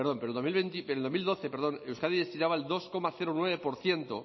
euskadi destinaba el dos coma nueve por ciento